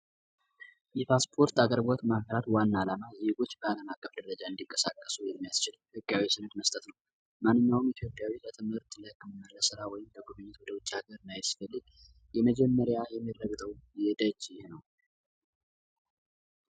የፓስፖርት አገልግሎት ዋና አላማ ዜየጎች በአለም ደረጃ እንዲቀሰቀሱ የሚያስችሉት መስጠት ነው ኢትዮጵያ ትምህርት ለህክምና ወይም የመጀመሪያ